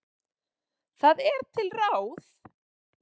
Það er til ráð.